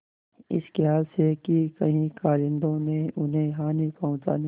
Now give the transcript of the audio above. इस खयाल से कि कहीं कारिंदों ने उन्हें हानि पहुँचाने